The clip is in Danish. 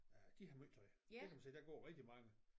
Øh de har måj tøj det kan man se der går rigtig mange